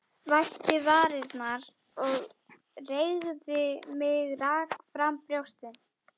Vætti varirnar og reigði mig, rak fram brjóstin.